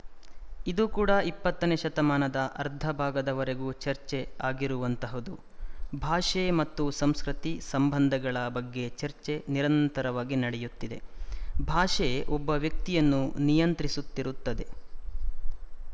ಇದು ಕೂಡ ಇಪ್ಪತ್ತನೇ ಶತಮಾನದ ಅರ್ಧ ಭಾಗದವರೆಗೂ ಚರ್ಚೆ ಆಗಿರುವಂತಹದು ಭಾಷೆ ಮತ್ತು ಸಂಸ್ಕೃತಿ ಸಂಬಂಧಗಳ ಬಗ್ಗೆ ಚರ್ಚೆ ನಿರಂತರವಾಗಿ ನಡೆಯುತ್ತಿದೆ ಭಾಷೆ ಒಬ್ಬ ವ್ಯಕ್ತಿಯನ್ನು ನಿಯಂತ್ರಿಸುತ್ತಿರುತ್ತದೆ